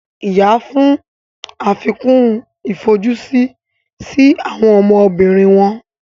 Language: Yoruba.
ìyá fún àfikún ifojusi sí àwọn ọmọbìnrin wọn